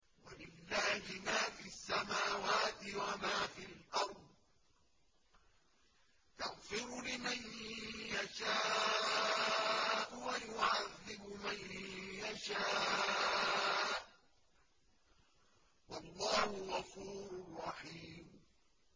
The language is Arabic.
وَلِلَّهِ مَا فِي السَّمَاوَاتِ وَمَا فِي الْأَرْضِ ۚ يَغْفِرُ لِمَن يَشَاءُ وَيُعَذِّبُ مَن يَشَاءُ ۚ وَاللَّهُ غَفُورٌ رَّحِيمٌ